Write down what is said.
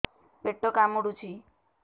ପେଟ କାମୁଡୁଛି